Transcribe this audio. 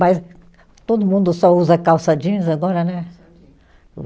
Mas todo mundo só usa calça jeans agora, né?